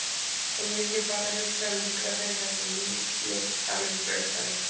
En ég er ekki bara að hugsa um Litla-Hraun heldur líf mitt alveg frá upphafi.